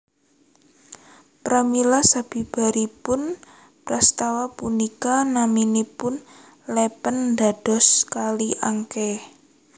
Pramila sabibaripun prastawa punika namanipun lèpèn dados Kali Angké